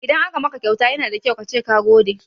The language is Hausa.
Idan aka maka kyauta yana da kyau kace ka gode.